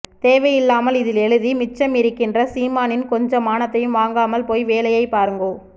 தேவையில்லாமல் இதில் எழுதி மிச்சம் இருக்கின்ற சீமானின் கொஞ்ச மானத்தையும் வாங்காமல் போய் வேலையைப் பாருங்கோ